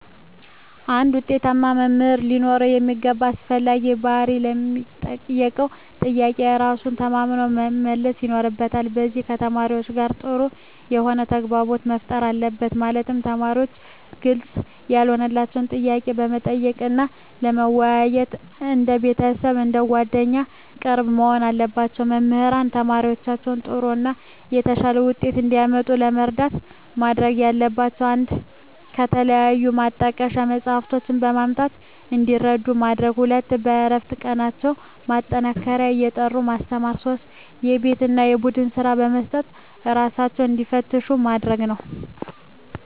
አንድ ውጤታማ መምህር ሊኖረው የሚገባ አስፈላጊ ባህሪ ለሚጠየቀው ጥያቄ በራሱ ተማምኖ መመለስ ይኖርበታል ከዚም ከተማሪዎቹ ጋር ጥሩ የሆነ ተግባቦት መፍጠር አለበት ማለትም ተማሪዎች ግልጽ ያልሆነላቸውን ጥያቄ ለመጠየቅ እና ለመወያየት እንደ ቤተሰብ አንደ ጓደኛ ቅርብ መሆን አለባቸው። መምህራን ተማሪዎቻቸውን ጥሩ እና የተሻለ ውጤት እንዲያመጡ ለመርዳት ማድረግ ያለባቸው 1 ከተለያዩ ማጣቀሻ መፅሃፍትን በማምጣት እንዲረዱ ማድረግ 2 በእረፍት ቀናቸው ማጠናከሪያ እየጠሩ ማስተማር 3 የቤት እና የቡድን ስራ በመስጠት እራሳቸውን እንዲፈትሹ ማድረግ ነው